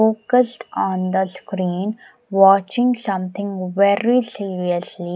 Focused on the screen watching something very seriously.